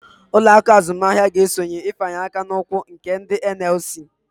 Uloaku azumahia ga-esonye ifanye akan'ụkwụ nke ndi NLC